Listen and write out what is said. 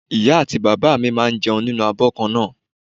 Ìyá àti bàbá mi máa ń jẹun nínú abo kan náà.